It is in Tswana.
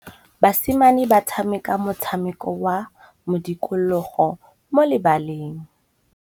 Basimane ba tshameka motshameko wa modikologô mo lebaleng.